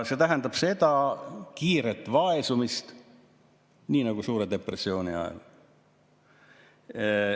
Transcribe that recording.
See tähendab kiiret vaesumist, nii nagu suure depressiooni ajal.